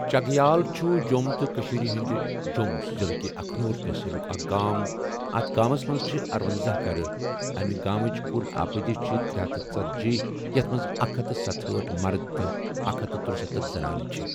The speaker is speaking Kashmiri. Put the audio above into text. چگیال چھُ جۆم تہٕ کٔشیٖر ہٕنٛدِ جۆم ضِلہٕ کہِ اَکھنوٗر تَحصیٖلُک اَکھ گام اَتھ گامَس مَنٛز چھِ ارۄنزہَ گَرٕ اَمہِ گامٕچ کُل آبٲدی چھِ ترےہتھ ژٔتجی یَتھ مَنٛز اکھ ہتھ ستہأٹھ مَرٕد تہٕ اکھ ہتھ ترٗستتھَ زَنانہٕ چھِ ۔